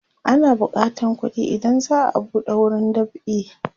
ana bukatan kuɗi idan za'a buɗe wurin dab'i